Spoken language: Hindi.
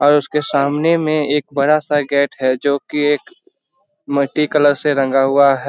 और उसके सामने में एक बड़ा सा गेट है जो की एक मट्टी कलर से रंगा हुआ --